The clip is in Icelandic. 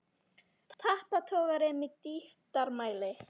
Tappatogari með dýptarmæli.